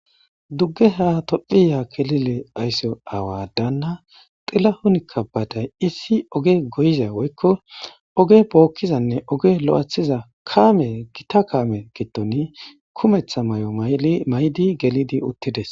dugge ha tophiya kelile aysso awadaanna xilla hunikka baaday issi oge goyiza woykko oge bookkizanne oge lo7ethiza kaame gita kaame gitoni kumetha may7o maydi gelidi uttides